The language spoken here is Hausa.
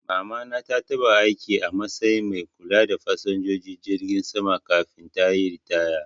Mama na ta taba aiki a matsayin mai kula da fasinjojin jirgi sama kafin tayi ritaya